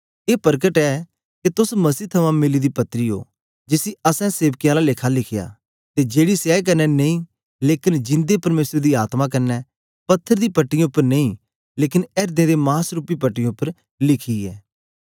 ए परकट ऐ के तोस मसीह थमां मिली दी पत्री ओ जिसी असैं सेवकें आला लेखा लिखया ते जेड़ी स्याई कन्ने नेई लेकन जिन्दे परमेसर दी आत्मा कन्ने पत्थर दी पट्टीयें उपर नेई लेकन एर्दें दे मास रूपी पट्टीयें उपर लिखी ऐ